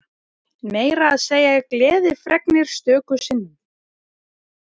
Meira að segja gleðifregnir stöku sinnum.